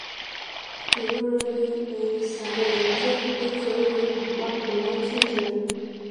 irora ní ẹ̀yìn isàlè rẹ jẹ́ nítorí apá colitis rẹ